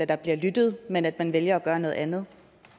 der bliver lyttet men at man vælger at gøre noget andet